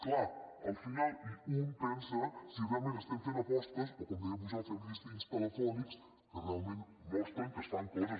clar al final un pensa si realment estem fent apostes o com deia pujol fem llistins telefònics que realment mostren que es fan coses